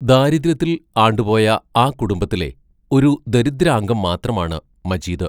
ദാരിദ്ര്യത്തിൽ ആണ്ടുപോയ ആ കുടുംബത്തിലെ ഒരു ദരിദ്രാംഗം മാത്രമാണ് മജീദ്